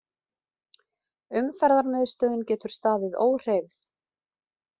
Umferðarmiðstöðin getur staðið óhreyfð